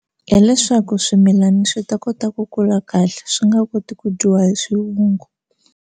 Hileswaku swimilana swi ta kota ku kula kahle swi nga koti ku dyiwa hi swivungu.